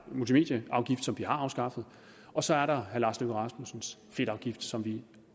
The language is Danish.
multimedieafgift som vi har afskaffet og så er der herre lars løkke rasmussens fedtafgift som vi